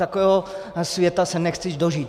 Takového světa se nechci dožít.